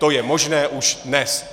To je možné už dnes.